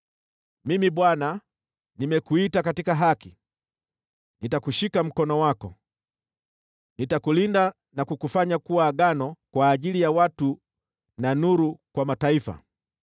“Mimi, Bwana , nimekuita katika haki; nitakushika mkono wako. Nitakulinda na kukufanya kuwa Agano kwa ajili ya watu na nuru kwa Mataifa,